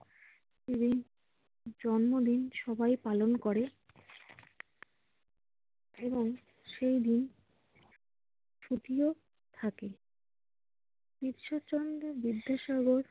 জন্মদিন সবাই পালন করে। এবং সেই দিন ছুটিও থাকে। ঈশ্বরচন্দ্র বিদ্যাসাগর